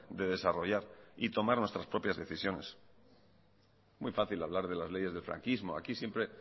de desarrollar y tomar nuestras propias decisiones muy fácil hablar de las leyes del franquismo aquí siempre